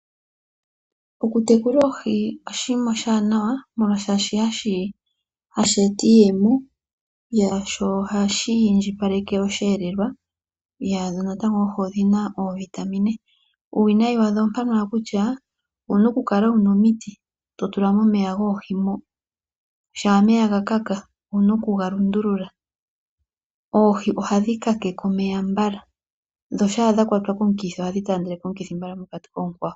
Oku tekula oohi oshima oshanawa molwashi hashi eta iiyemo. Sho ohashi indjipaleke osheelelwa. Dho natango oohi odhina oovitamin. Uuwinayi wadho ompano wala kutya owuna oku kala wuna omiiti to tula momeya goohi mo. Shaa omeya ga kala owuna oku ga lundulula. Oohi ohadhi kakeke omeya mbala dho shaa dha kwatwa komukithi ohadhi taandeleke omukithi mbala mokati koonkwawo.